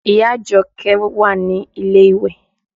Ìyá Àjọkẹ́ wà ní ilé ìwẹ̀